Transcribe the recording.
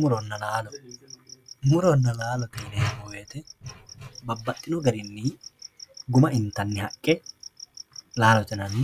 Muronna laalo murona laalote yinemo woyite babaxino garini murona xagge laalote yinani